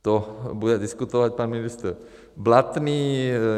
To bude diskutovat pan ministr Blatný.